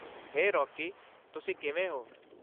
ਹੇ, Rocky. ਤੁਸੀ ਕਿਵੇਂ ਹੋ?